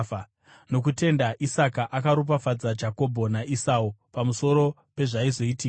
Nokutenda Isaka akaropafadza Jakobho naEsau pamusoro pezvaizoitika.